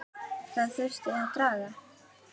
Það þurfti að draga